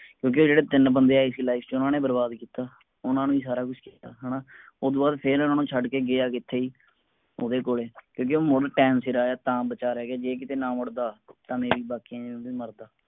ਕਿਉਂਕਿ ਜੇਡੇ ਤੀਨ ਬੰਦੇ ਆਏ ਸੀ life ਚ ਓਹਨਾ ਨੇ ਬਰਬਾਦ ਕੀਤਾ ਓਹਨਾ ਨੇ ਸਾਰਾ ਕੁਜ ਕੀਤਾ ਹੈਨਾ ਉਹਦੋਂ ਬਾਅਦ ਇਹਨਾਂ ਨੂੰ ਛੱਡ ਕੇ ਗਯਾ ਕਿਥੇ ਓਹਦੇ ਕੋਲੇ ਕਿਉਂਕਿ ਹੁਣ time ਸਿਰ ਆਯਾ ਤਾਂ ਬਚਾ ਰਹ ਗਯਾ ਜੇ ਕੀਤੇ ਨਾ ਮੁੜਦਾ ਤਾ ਮੈ ਵੀ ਬਾਕੀਆਂ ਵਾਂਗੂਮਰਦਾ